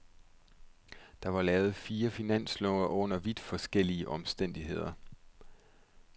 Der er lavet fire finanslove under vidt forskellige omstændigheder.